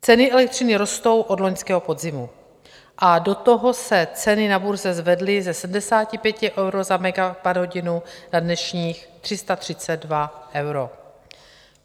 Ceny elektřiny rostou od loňského podzimu a do toho se ceny na burze zvedly ze 75 euro za megawatthodinu na dnešních 332 euro.